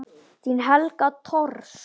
Þín Helga Thors.